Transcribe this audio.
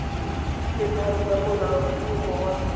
le tharo tsa molaotlhomo wa